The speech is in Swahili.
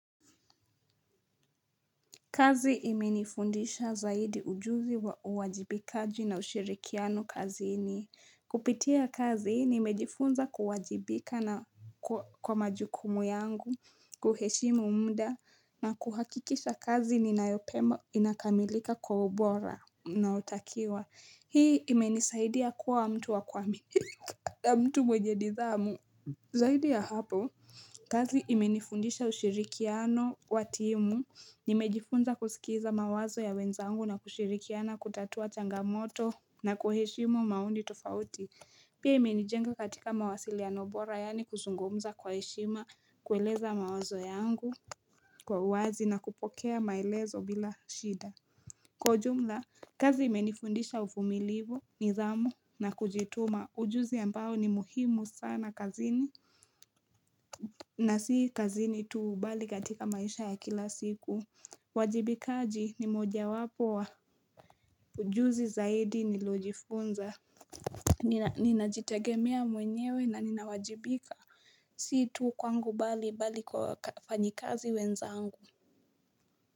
Kazi imenifundisha zaidi ujuzi wa uwajibikaji na ushirikiano kazini. Kupitia kazi nimejifunza kuwajibika na kwa majukumu yangu, kuheshimu muda na kuhakikisha kazi ninayopema inakamilika kwa ubora na unaotakiwa. Hii imenisaidia kuwa mtu wa kuaminika na mtu mwenye nidhamu. Zaidi ya hapo, kazi imenifundisha ushirikiano wa timu, nimejifunza kusikiza mawazo ya wenzangu na kushirikiana kutatua changamoto na kuheshimu maoni tofauti, pia imenijenga katika mawasiliano bora yaani kuzungumza kwa heshima, kueleza mawazo yangu kwa uwazi na kupokea maelezo bila shida. Kwa ujumla kazi imenifundisha uvumilivu, nidhamu na kujituma ujuzi ambao ni muhimu sana kazini na si kazini tu bali katika maisha ya kila siku uajibikaji ni moja wapo wa ujuzi zaidi nilojifunza. Ninajitegemea mwenyewe na ninawajibika si tu kwangu bali bali kwa wafanyikazi wenzangu.